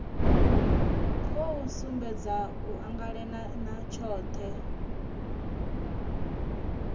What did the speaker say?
khou sumbedza u anganelana tshohe